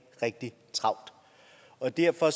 rigtig travlt og derfor